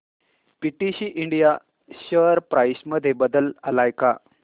PTC India share price मध्ये बदल आलाय का